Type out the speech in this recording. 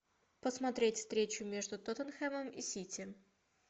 посмотреть встречу между тоттенхэмом и сити